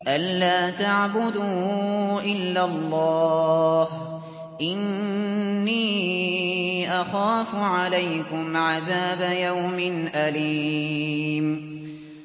أَن لَّا تَعْبُدُوا إِلَّا اللَّهَ ۖ إِنِّي أَخَافُ عَلَيْكُمْ عَذَابَ يَوْمٍ أَلِيمٍ